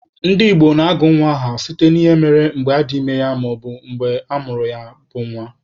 Ndị Igbo na-agụ nwa ha aha site n'ihe mere mgbe adị ime ya maọbu mgbe amụrụ ya bụ nwa.